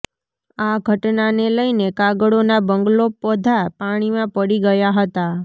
આ ઘટનાને લઈને કાગળોના બંગલો બધા પાણીમાં પડી ગયા હતાં